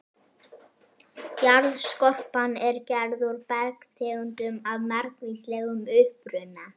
Jarðskorpan er gerð úr bergtegundum af margvíslegum uppruna.